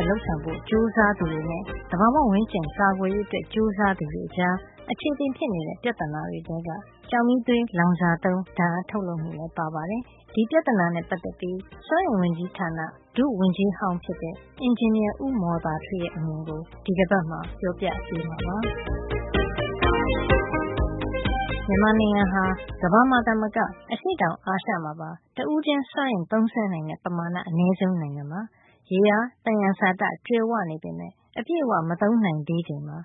က် လုပ်ဆောင်ဖို့ ကြိုးစားသူတွေနဲ့ သဘာဝ ဝန်းကျင်ကာကွယ်ရေး အတွက် ကြိုးစားသူတွေကြား အခြေအတင်ဖြစ်နေတဲ့ ပြဿနာတွေထဲ ကျောက်မီးသွေးလောင်စာသုံး ဓါတ်အားထုတ်လုပ်မှုလည်း ပါပါတယ်။ ဒီပြဿနာနဲ့ ပတ်သက်ပြီး စွမ်းအင်ဝန်ကြီးဌာန ဒုဝန်ကြီးဟောင်းဖြစ်တဲ့ အင်ဂျင်နီယာ ဦးမော်သာထွေးရဲ့ အမြင်ကို ဒီတပတ်မှာပြောပြပေးမှာပါ။ မြန်မာနိုင်ငံဟာ ကမ္ဘာမှာသာမက အရှေ့တောင်အာရှ မှာပါ တဦးချင်း စွမ်းအင်သုံးစွဲနိုင်တဲ့ ပမာဏ အနဲဆုံး နိုင်ငံဖြစ်နေပါတယ်။ ရေအားသယံဇာတ ကြွယ်ဝပေမယ့် အပြည့်အဝ မသုံးနိုင်သေးချိန်မှာ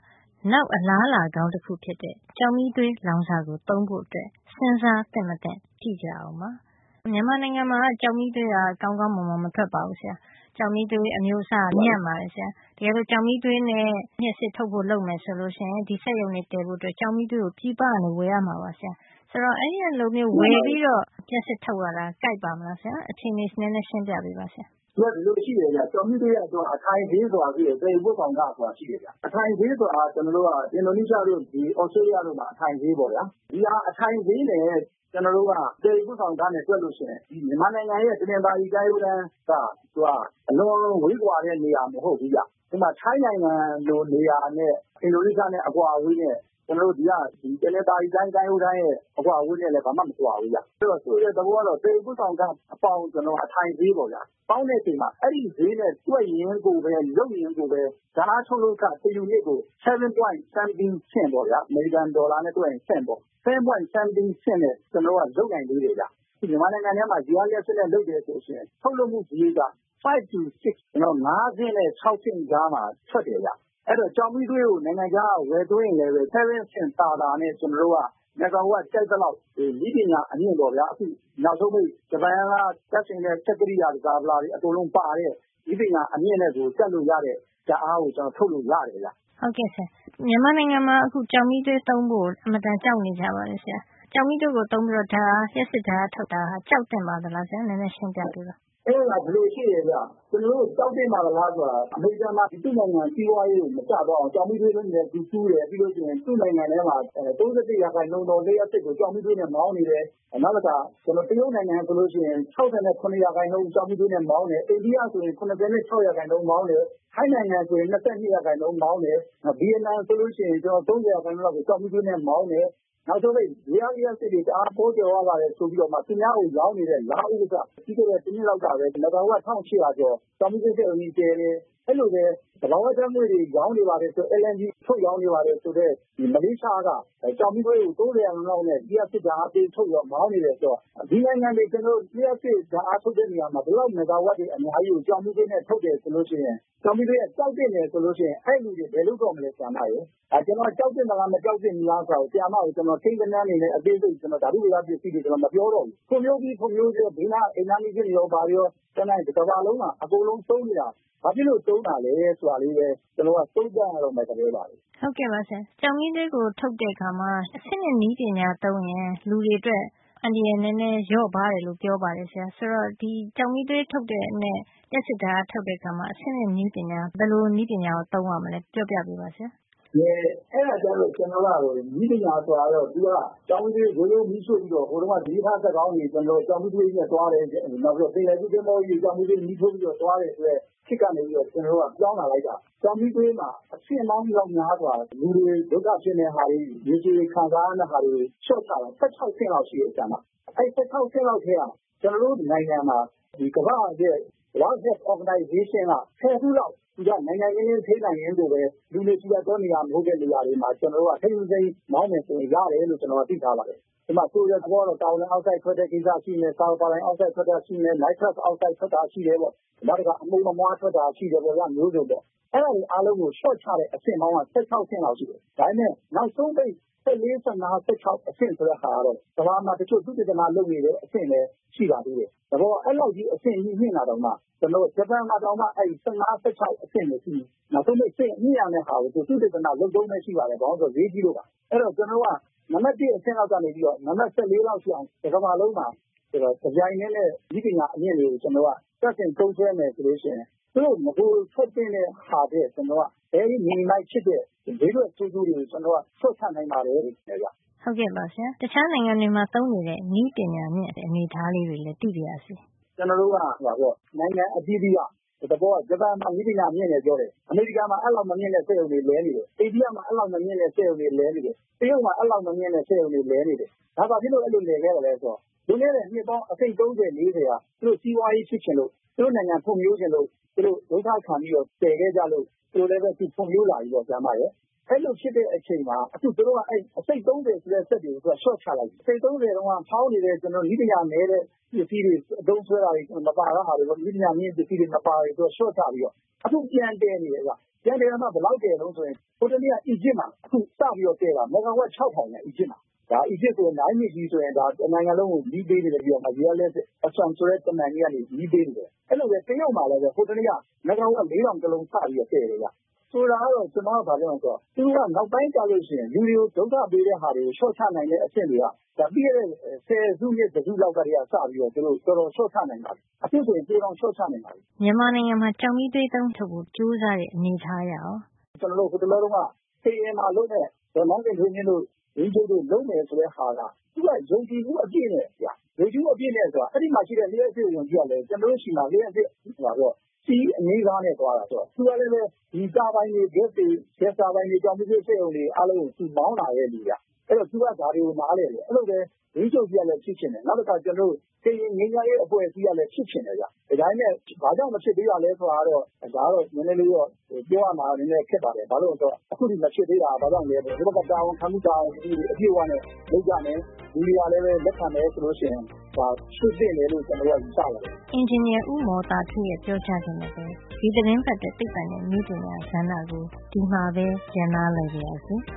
နောက် အလားအလာကောင်း တခုဖြစ်တဲ့ ကျောက်မီးသွေးလောင်စာကို သုံးဖို့ စဉ်းစားသင့် မသင့် ကြည့်ရအောင်ပါ။ “မြန်မာနိုင်ငံမှာက ကျောက်မီးသွေးက ကောင်းကောင်း မွန်မွန်မထွက်ပါဘူး ဆရာ။ ရှိတဲ့ ကျောက်မီးသွေး အမျိုးအစားကလည်း ညံ့ပါတယ်။ တကယ်လို့ ကျောက်မီးသွေးနဲ့ လျှပ်စစ် ထုတ်ဖို့ လုပ်မယ် ဆိုလို့ ရှိရင် ဒီစက်ရုံတွေ တည်ဖို့ အတွက် ကျောက်မီးသွေးကို ပြည်ပကနေ ဝယ်ရမှာပါ ဆရာ။” “မှန်ပါတယ်။” “ဆိုတော့ အဲဒီလိုမျိုးဝယ်ပြီးတော့ လျှပ်စစ် ထုတ်ရင် ကိုက်ပါ့မလား ဆရာ အခြေနေ နဲနဲ ရှင်းပြပေးပါ။” “အဲဒါက ဒီလိုရှိပါတယ်။ ကျောက်မီးသွေးက သူက အထိုင်ဈေး ဆိုတာ ရှိတယ်။ သယ်ယူ ပို့ဆောင်ခ ဆိုတာ ရှိတယ်။ အထိုင်ဈေး ဆိုတာက သူတို့က အင်ဒိုနီးရှားတို့ သြစတေးရီးယား တို့မှာက အထိုင်ဈေးပေါ့ခင်ဗျ။ အဲဒီ အထိုင်ဈေးနဲ့ သယ်ယူ ပို့ဆောင်ခနဲ့ တွက်လို့ ရှိရင် ကျွန်တော်တို့က မြန်မာနိုင်ငံရဲ့ တနင်္သာရီ ကမ်းရိုးတန်းက သူက အလွန်ဝေးကွာတဲ့ နေရာ မဟုတ်ဖူးဗျ။ ဥပမာ ထိုင်းနိုင်ငံလို နေရာနဲ့ အင်ဒိုနီးရှား အကွာအဝေးနဲ့ ကျွန်တော်တို့ရဲ့ ဒီက တနင်္သာရီတိုင်း ကမ်းရိုးတန်းနဲ့ အကွာအဝေးက ဘာမှ မကွာဘူး ခင်ဗျ။ အဲဒီတော့ ဆိုလိုတဲ့ သဘောကတော့ သယ်ယူ ပို့ဆောင်ခ အပေါင်း အထိုင်ဈေး ပေါ့ခင်ဗျာ။ အဲဒီဈေးနဲ့ တွက်ရင်ကိုပဲ လုပ်ရင် ကိုပဲ ဓါတ်အားထုတ်လုပ်ခ တယူနစ်ကို ဆင့်ပေါင်း cent ၇ ဒဿမ ကျော် ပေါ့ ခင်ဗျာ။ အမေရိကန် ဒေါ်လာနဲ့ တွက်ရင် “ဆင့်” ပေါ့ဗျာ။ ၇ ဆင့်လောက်နဲ့ လုပ်နိုင်သေးတယ် ခင်ဗျ။” “ရေအားလျှပ်စစ်ဆိုရင်၊ မြန်မာနိုင်ငံထဲမှာ ရေအားလျှပ်စစ်နဲ့ လုပ်တယ် ဆိုရင် ကျွန်တော်တို့ ထုတ်လုပ်မှု စားရိတ်က ၅ ဆင့်နဲ့ ၆ ဆင့်ကြားမှာ ထွက်တယ်ဗျ။ အဲဒီတော့ ကျောက်မီးသွေးကို နိုင်ငံခြားကနေ ဝယ်သုံးရင်လည်း ၇ ဆင့် သာသာနဲ့ ကျွန်တော်တို့က မီဂါဝပ် ကြိုက်သလောက်ကို နည်းပညာမြင့်မြင့်နဲ့ ပေါ့ဗျာ အခု နောက်ဆုံးပိတ် ဂျပန်က တပ်ဆင်တဲ့ စက်ကရိယာ တန်ဆာပလာတွေ အကုန်လုံး ပါတဲ့ နည်းပညာ အမြင့်နဲ့ ဆို တပ်လို့ရတဲ့ ဓါတ်အားကို ကျွန်တော်တို့ ထုတ်လို့ ရတယ်ဗျ။” “ဟုတ်ကဲ့ပါဆရာ။ မြန်မာနိုင်ငံမှာက အခု ကျောက်မီးသွေးသုံးဖို့ အတော်ကို ကြောက်နေကြပါတယ် ဆရာ။ ကျောက်မီးသွေးကို သုံးပြီးတော့ လျှပ်စစ် ဓါတ်အားထုတ်တာဟာ ကြောက်သင့်ပါသလား ဆရာ။ နဲနဲ ရှင်းပြပေးပါ။” “အဲဒါ ဒီလို ရှိတယ်ခင်ဗျ။ ကျွန်တော်တို့ ကြောက်သင့်ပါသလား ဆိုတာ အမေရိကန်မှာ သူ့နိုင်ငံ စီးပွါးရေး မကျသွားအောင် ကျောက်မီးသွေးတွင်းတွေလည်း သူတူးတယ်။ ပြီးလို့ ရှိရင် သူ့နိုင်ငံထဲမှာ ၃၁ % သော လျှပ်စစ်ကို ကျောက်မီးသွေးနဲ့ မောင်းနေတယ်။ နောက်တခါ တရုတ်နိုင်ငံက ဆိုလို့ ရှိရင် ၆၇ % ကျောက်မီးသွေးနဲ့ မောင်းတယ်။ အိန္ဒိယ ဆိုရင် ၇၆ % မောင်းတယ်။ ထိုင်းနိုင်ငံ ဆိုလို့ရှိရင် ၂၂ % မောင်းတယ်။ နောက် ဗီယက်နမ် ဆိုလို့ ရှိရင် ၃၀ % လောက်ကို ကျောက်မီးသွေးနဲ့ မောင်းတယ်။ နောက်ဆုံးပိတ် ရေအားလျှပ်စစ်တွေ တအား ပေါကြွယ်ဝ ပါတယ် ဆိုပြီးတော့မှ သူများကို ရောင်းနေတဲ့ လာအိုးက ပြီးခဲ့တဲ့ တနှစ်လောက်ကပဲ မီဂါဝပ် ၁၈၀၀ ကျော် ကျောက်မီးသွေး စက်ရုံကြီးတည်တယ်။ အဲဒီလိုပဲ သဘာဝ ဓါတ်ငွေ့တွေ ရောင်းနေပါတယ်၊ LNG ထုတ်ရောင်းနေပါတယ် ဆိုတဲ့ မလေးရှားက ကျောက်မီးသွေးကို ၃၀ % လောက်နဲ့ လျှပ်စစ်ဓါတ်အား ပေး ထုတ်ပြီးတော့ မောင်းနေတယ် ဆိုတော့ ဒီနိုင်ငံတွေ လျှပ်စစ်ဓါတ်အား ထုတ်တဲ့ နေရာမှာ ဒီလောက် မီဂါဝပ်တွေ အများကြီးကို ကျောက်မီးသွေးနဲ့ ထုတ်တယ် ဆိုလို့ ရှိရင် ကျောက်မီးသွေးက ကြောက်သင့်တယ် ဆိုလို့ ရှိရင် အဲဒီလူတွေ ဘယ်လုပ်တော့မလဲ ဆရာမရယ်။”“ “ဒါက ကျွန်တော်က ကြောက်သင့်သလား မကြောက်သင့် ဘူးလား ဆိုတာ ကိန်းဂဏန်းတွေနဲ့ အသေးစိတ် ဓါတုဗေဒ ကိန်းဂဏန်းတွေနဲ့ အသေးစိတ် မပြောတော့ဘူး။ ဖွံ့ဖြိုးပြီး ဖွံ့ဖြိုးဆဲ ဘေးနားက အိမ်နားနီးချင်းတွေရော၊ ဘာတွေရော ကျန်တဲ့ တကမ္ဘာလုံးမှာ အကုန်လုံး သုံးနေတာ ဘာဖြစ်လို့ သုံးတာလဲ ဆိုတာလေးပဲ ကျွန်တော်တို့ က သုံးသပ်ရတော့မယ့် သဘောပါပဲ။” “ဟုတ်ကဲ့ပါ ဆရာ။ ကျောက်မီးသွေးကို ထုတ်တဲ့ အခါမှာ အဆင့်မြင့် နည်းပညာ သုံးရင် လူတွေ အတွက် အန္တရာယ် နဲနဲ လျော့ပါးတယ်လို့ ပြောပါတယ်ဆရာ။ ဆိုတော့ ဒီကျောက်မီးသွေးနဲ့ ထုတ်တဲ့ လျှပ်စစ်ဓါတ်အား ထုတ်တဲ့ အခါမှာ အဆင့်မြင့် နည်းပညာ သုံးကြတာကို ပြောပြပေးပါ ဆရာ။” “အဲဒါကျတော့ ကျွန်တော်တို့က နည်းပညာ ဆိုတာ ကျောက်မီးသွေး မီးရှို့ပြီးတော့ ဟိုတုန်းက မီးရထား စက်ခေါင်းတွေဟိုတုန်းက ကျောက်မီးသွေးနဲ့ သွားတယ်။ နောက်ပြီးတော့ ပင်လယ်ကူး သင်္ဘောကြီးတွေ ကျောက်မီးသွေးမီး ထိုးပြီးတော့ သွားတယ် ဆိုတဲ့ခေတ် ကနေပြီးတော့ ကျွန်တော်တို့က ပြောင်းလာလိုက်တာ ကျောက်မီးသွေးမှာ အဆင့်ပေါင်း မြောက်များစွာ လူတွ ဒုက္ခဖြစ်မယ့် ဟာတွေ လူတွေ ခံစားရမယ့် ဟာတွေကို လျှော့ချ လာလိုက်တာ၊ ၁၆ ဆင့်လောက် ရှိမယ် ဆရာမ။ ၁၆ ဆင့်လောက်ထဲက ကျွန်တော်တို့ နိုင်ငံမှာ ဒီကမ္ဘာ့ရဲ့ World Health Organization က ဆယ်ခုလောက် သူက နိုင်နိုင်နင်းနင်း ထိန်းနိုင်ရင် ကိုပဲ လူနေထူထပ်တဲ့ နေရာတွေ မဟုတ်တဲ့ နေရာတွေမှာ ထိန်းထိန်းသိမ်းသိမ်း မောင်းနှင်လို့ ရတယ်လို့ သိထားပါတယ်။” “အဲဒီမှာ ကာဗွန်ဒိုင်အောက်ဆိုဒ် ထွက်တဲ့ကိစ္စ ရှိမယ်၊ ဆာလ်ဖာဒိုင်အောက်ဆိုဒ် ထွက်တဲ့ဟာ ရှိမယ်။ နိုင်ထရပ်အောက်ဆိုဒ် ထွက်တဲ့ဟာ ရှိမယ်ပေါ့။ နောက်တခါ အမှုန်အမွှား ထွက်တာ ရှိတယ်ပေါ့ဗျာ။ အမျိုးစုံပေါ့။ အဲဒါတွေ အားလုံးကို လျှော့ချတဲ့ အဆင့်ပေါင်းက ၁၆ ဆင့်လောက် ရှိတယ်။ ဒါပေမယ့် နောက်ဆုံးပိတ် ၁၄- ၁၅ - ၁၆ ဆိုတဲ့ အဆင့် ဆိုတဲ့ ဟာကတော့ ကမ္ဘာမှာ တချို့သုတေသန လုပ်နေတဲ့ အဆင့်ပဲ ရှိပါသေးတယ်။ သဘောက အဲလောက်ကြီး အဆင့်မြှင့်တာတောင်မှ ကျွန်တော်တို့ ဂျပန်မှာ တောင်မှ အဲလောက် ၁၅- ၁၆ အဆင့်ပဲ ရှိပါသေးတယ်။ နောက်ဆုံးပိတ် အဆင့်မြှင့်ရမယ့်ဟာကို သုတေသန လုပ်တုန်းပဲ ရှိပါသေးတယ်။ ဘာလို့လည်း ဆိုတော့ ဈေးကြီးလို့ပါ။” “အဲဒီတော့ ကျွန်တော်တို့က နံပတ် ၁ အဆင့်လောက်ကနေပြီးတော့ နံပါတ် ၁၄ လောက် အထိအောင်ကို တကမ္ဘာလုံးမှာ တပြိုင်ထဲနဲ့ နည်းပညာအမြင့်တွေ ကျွန်တော်တို့က စတင်သုံးစွဲ မယ် ဆိုလို့ ရှိရင် သူတို့ နဂိုထွက်သင့်တဲ့ဟာ ထက် very minimized ဖြစ်တဲ့ ဘေးထွက် ဆိုးကျိုးတွေကို ကျွန်တော်တို့က လျှော့ချ နိုင်ပါတယ်လို့ ထင်တယ်ဗျ။” “ဟုတ်ကဲ့ပါဆရာ တခြားနိုင်ငံတွေမှာ သုံးနေတဲ့ နည်းပညာမြင့် လျှပ်စစ် ထုတ်ကြတဲ့ အနေထား လေးတွေ လည်း သိပါရစေ။” “ကျွန်တော်တို့ကဗျ။ နိုင်ငံ အသီးသီးက။ သဘောကတော့ဗျာ ဂျပန်မှာ နည်းပညာမြင့် တယ် ပြောတယ်။ အမေရိကန်မှာ အဲဒီလောက် မမြင့်တဲ့ စက်ရုံတွေ လည်နေတယ်။ အိန္ဒိယမှာ အဲဒီလောက် မမြင့်တဲ့ စက်ရုံတွေ လည်နေတယ်။ တရုတ်မှာ အဲဒီလောက် မမြင့်တဲ့ စက်ရုံတွေ လည်နေတယ်။ ဒါဘာဖြစ်လို့ အဲဒီလိုလည်ခဲ့သလဲ ဆိုတော့ လွန်ခဲ့တဲ့ နှစ်ပေါင်း အစိတ်၊ သုံးဆယ်၊ လေးဆယ်က သူတို့ စီးပွါးရေးဖြစ်ချင်လို့၊ သူတို့နိုင်ငံဖွံဖြိုးချင်လို့၊ သူတို့ ဒုက္ခခံပြီးတော့ တည်ခဲ့ကြလို့ သူတို့လည်းပဲ ဖွံဖြိုးလာပြီပေါ့ဆရာမရယ်။ အဲဒီလို ဖြစ်တဲ့ အချိန်မှာ အခု သူတို့က အဲဒီ အစိတ် သုံးဆယ်ဆိုတဲ့ စက်တွေကို လျှော့ချလိုက်ပြီ။ အစိတ် သုံးဆယ်တုန်းက ဟောင်းနေတဲ့ ကျွန်တော်တို့ နည်းပညာ နဲတဲ့ ပစ္စည်းတွေ သုံးစွဲတာတွေ မပါတဲ့ ဟာတွေပေါ့။ သူက နည်းပညာမြင့်တဲ့ ပစ္စည်း မပါလေ၊ လျှော့ချလေပဲ။” “အခု ပြန်တည်နေတယ် ခင်ဗျ။ ပြန်တည်တာမှ ဘယ်လောက် တည်သလဲ ဆိုရင်၊ ဟိုတနေ့က အီဂျစ်မှာ အခု စပြီးတော့ တည်တာ မီဂါဝပ် ၆၀၀၀ ခင်ဗျ။ အီဂျစ်မှာ။ ဒါက အီဂျစ်ဆိုရင် Nile မြစ်ကြီး ဆိုရင် ဒါ တနိုင်ငံလုံးကို မီးပေးနေတဲ့ဟာ ရေအားလျှပ်စစ်က Assam ဆိုတဲ့ တမံကြီးကနေ မီးပေးနေတယ်။ အဲဒီလိုပဲ တရုတ်မှာလည်းပဲ ဟိုတနေ့က မီဂါဝပ် ၄၀၀၀ တလုံး စပြီးတော့ တည်တယ် ခင်ဗျ။ ဆိုလိုတာကတော့ ကျွန်တော်က ဘာပြောချင်လည်း ဆိုတော့ သူတို့က နောက်ပိုင်းကျလို့ ရှိရင် လူတွေကို ဒုက္ခပေးတဲ့ ဟာတွေကို လျှော့ချ နိုင်တဲ့ အဆင့်တွေက ဒါ ပြီးခဲ့တဲ့ ဆယ်စုနှစ် တစုလောက် ကတည်းက စပြီး သူတို့ တော်တော် လျှော့ချ နိုင်ပါပြီ။ အခု ဆိုရင် ပိုတောင် လျှော့ချနိုင်ပါတယ်။” “မြန်မာနိုင်ငံမှာ ကျောက်မီးသွေးသုံး လျှပ်စစ် ထုတ်ဖို့ ကြိုးစားတဲ့ အနေထားကရော ဆရာ။” “ကျွန်တော်တို့ ဟိုတလောတုန်းက ကရင်မှာ လုပ်မယ် ဆိုတဲ့ ဒေါ်နန်းခင်ထွေးမြင့် တို့ ဝန်ကြီးချုပ်တို့ လုပ်မယ်ဆိုတဲ့ ဟာက သူက ယုံကြည်မှု အပြည့်နဲ့ဗျ။ ယုံကြည်မှု အပြည့်နဲ့ ဆိုတာက အဲဒီမှာ ရှိတဲ့ လျှပ်စစ်ဝန်ကြီးကလည်း ကျွန်တော်တို့ ဆီမှာ လျှပ်စစ် CE အငြိမ်းစား နဲ့ သွားတာဗျ သူက။ သူကလည်းပဲ ဒီတာဘိုင်တွေ ဂက်စ်တာဘိုင်တွေ၊ ဒီကျောက်မီးသွေး စက်ရုံတွေ အားလုံးကို သူမောင်းလာခဲ့သူဗျ။ အဲဒီတော့ သူက ဒါတွေကို နားလည်တယ်။ အဲဒီလိုပဲ ဝန်ကြီးချုပ် ကြီးကလည်း ဖြစ်စေချင်တယ်။ နောက်တခါ ကျွန်တော်တို့ ကရင်ငြိမ်းချမ်းရေး အဖွဲ့အစည်းကလည်း ဖြစ်ချင်တယ် ခင်ဗျ။” “ဒါပေမယ့် ဘာကြောင့် မဖြစ်သေးတာလဲ ဆိုတာကတော့ ပြောရမှာတော့ နဲနဲတော့ ခက်တာပေါ့။ ဘာလို့လည်း ဆိုတော့ အခုထိ မဖြစ်သေးတာက ဘာကြောင့် မဖြစ်သေးတာလဲ ဆိုတော့ ဒီဘက်က တာဝန်ခံမှု တာဝန်ယူမှုတွေ အပြည့်အဝနဲ့ လုပ်ကြမယ်။ လူတွေကလည်း လက်ခံမယ် ဆိုလို့ ရှိရင် ဒါက ဖြစ်သင့်တယ်လို့ ကျွန်တော်တို့က ယူဆတယ်။” စွမ်းအင်ဝန်ကြီးဌာန ဒုဝန်ကြီးဟောင်းဖြစ်တဲ့ အင်ဂျင်နီယာ ဦးမော်သာထွေးရဲ့ ပြောကြားချက်နဲ့ပဲ ဒီသီတင်းပတ်အတွက် သိပ္ပံနဲ့ နည်းပညာကဏ္ဍကို ဒီမှာပဲ ရပ်နားလိုက်ပါရစေ။